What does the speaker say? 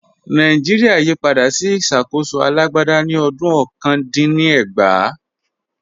Nàìjíríà yí padà sí ìṣàkóso alágbádá ní ọdún ọ̀kan dín ní ẹgbàá